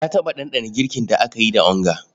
Na taɓa ɗanɗana girkin da aka yi da onga.